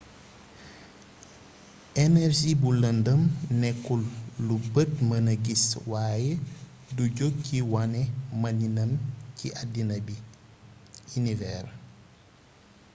energie bu lëndëm nekkul lu bët mëna gis waaye du jog ci wane maniinam ci àddina bi univers